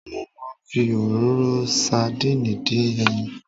Mo máa ń fi òróró sadínìì dín ẹyin.